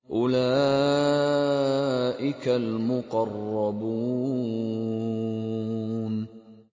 أُولَٰئِكَ الْمُقَرَّبُونَ